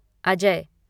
Ajay